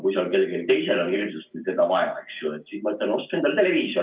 Kui seal kellelgi teisel on hirmsasti teda vaja, siis ma ütlen: ostke endale televiisor.